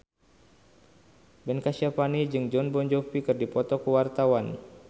Ben Kasyafani jeung Jon Bon Jovi keur dipoto ku wartawan